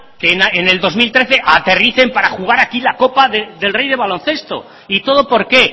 que en dos mil trece aterricen para jugar aquí la copa del rey de baloncesto y todo por qué